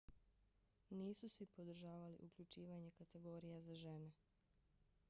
nisu svi podržavali uključivanje kategorija za žene